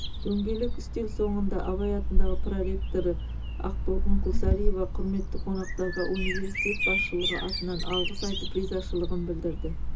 дөңгелек үстел соңында абай атындағы проректоры ақтолқын құлсариева құрметті қонақтарға университет басшылығы атынан алғыс айтып ризашылығын білдірді